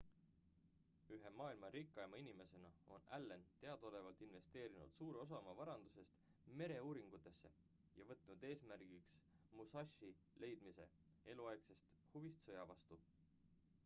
ühe maailma rikkaima inimesena on allen teadaolevalt investeerinud suure osa oma varandusest mereuuringutesse ja võtnud eesmärgiks musashi leidmise eluaegsest huvist sõja vastu